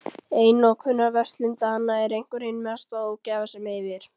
Einokunarverslun Dana er einhver hin mesta ógæfa sem yfir